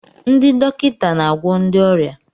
Ndị dọkịta na-agwọ ndị ọrịa.